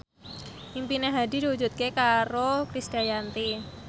impine Hadi diwujudke karo Krisdayanti